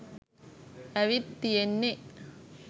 ඇවිත් තියෙන්නේ